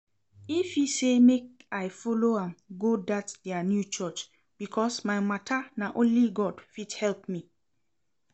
Ify say make I follow am go dat her new church because my matter na only God fit help me